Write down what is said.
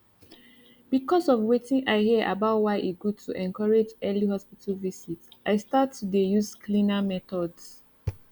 because of wetin i hear about why e good to encourage early hospital visit i start to dey use cleaner methods